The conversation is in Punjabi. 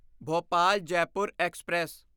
ਭੋਪਾਲ ਜੈਪੁਰ ਐਕਸਪ੍ਰੈਸ